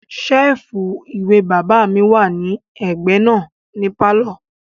Sẹ́ẹ̀fù ìwé bàbá mi wà ní ẹ̀gbẹ́ náà ní pálọ̀